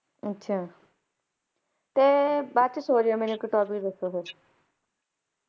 ਅੱਛਾ! ਤੇ ਬਾਅਦ ਚ ਸੌ ਜਿਓ ਤੇ ਮੈਨੂੰ ਇਕ topic ਦਸੋ ਫੇਰ